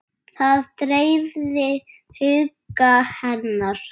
Það dreifði huga hennar.